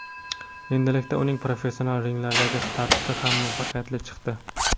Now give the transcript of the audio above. Endilikda uning professional ringlardagi starti ham muvaffaqiyatli chiqdi.